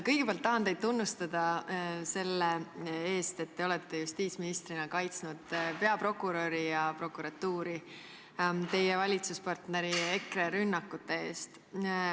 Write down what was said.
Kõigepealt tahan teid tunnustada selle eest, et te olete justiitsministrina kaitsnud peaprokuröri ja prokuratuuri teie valitsuspartneri EKRE rünnakute eest.